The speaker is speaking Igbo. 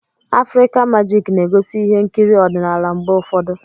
Afrịka magik na-egosi ihe nkiri ọdịnala mgbe ụfọdụ.